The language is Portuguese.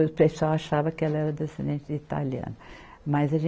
O pessoal achava que ela era descendente de italiana. mas a